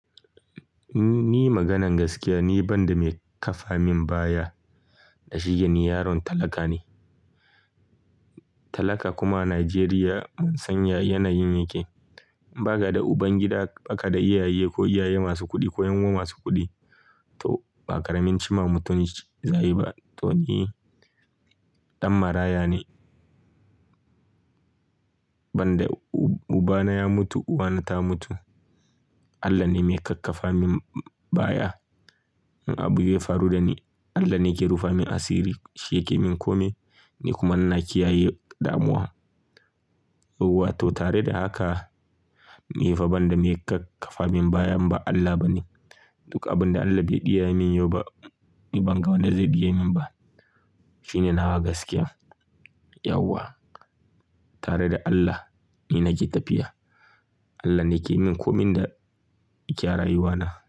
Ni maganan gaskiya, ni ban da mai kafa min baya da shi yake ni yaron talaka ne. Talaka kuma a Najeriya mun san ya yanayin yake. Ba ka da ubangida, ba ka da iyaye ko iyaye masu kuɗi ko yan uwa masu kuɗi. To ba ƙaramin cima mutum za, a yi ba. To ni ɗan maraya ne. Ban da ubana ya mutu, uwana ta mutu. Allah ne mai kakkafa min baya. In abu ya faru da ni, Allah ne ke rufe min asiri. Shi yake min kome, ni kuma ina kiyaye damuwa. Wato tare da haka, ni fa ban da mai kakkafa min baya, imba Allah ba ne. Duk abin da Allah bai ɗiya min yau ba, ni ban ga wanda zai ɗiye min ba. Shine nawa gaskiya. Yauwa. Tare da Allah, ni nake tafiya. Allah ne ke min komin da ke a rauwana.